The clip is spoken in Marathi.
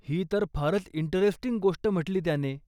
ही तर फारच इंटरेस्टिंग गोष्ट म्हटली त्याने.